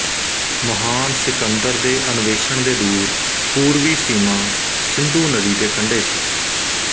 ਮਹਾਨ ਸਿਕੰਦਰ ਦੇ ਅਨਵੇਸ਼ਣ ਦੇ ਦੂਰ ਪੂਰਵੀ ਸੀਮਾ ਸਿੰਧੂ ਨਦੀ ਦੇ ਕੰਡੇ ਸੀ